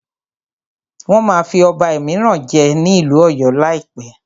Wọ́n máa fí ọba míràn jẹ ní ìlú ọ̀yọ́ lá láìpẹ́.